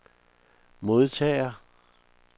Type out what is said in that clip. modtager